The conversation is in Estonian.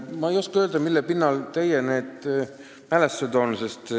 Ma ei oska öelda, mille pinnal need teie mälestused on tekkinud.